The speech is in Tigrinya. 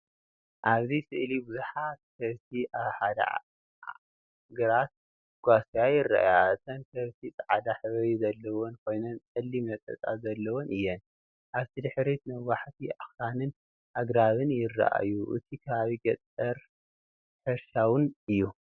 ኣብዚ ስእሊ ብዙሓት ከብቲ ኣብ ሓደ ግራት ክጓስያ ይረኣያ። እተን ከብቲ ጻዕዳ ሕብሪ ዘለወን ኮይነን ጸሊም ነጠብጣብ ዘለወን እየን። ኣብ ድሕሪት ነዋሕቲ ኣኽራንን ኣግራብን ይረኣዩ። እቲ ከባቢ ገጠርን ሕርሻዊን እዩ።